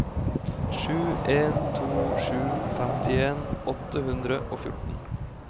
sju en to sju femtien åtte hundre og fjorten